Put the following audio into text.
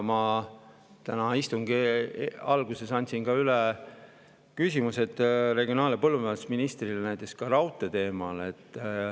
Ma täna istungi alguses andsin üle küsimused regionaal‑ ja põllumajandusministrile raudtee teemal.